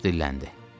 Baş dilləndi.